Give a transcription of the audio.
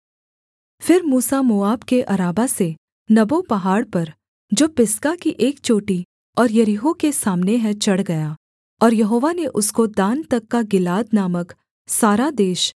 फिर मूसा मोआब के अराबा से नबो पहाड़ पर जो पिसगा की एक चोटी और यरीहो के सामने है चढ़ गया और यहोवा ने उसको दान तक का गिलाद नामक सारा देश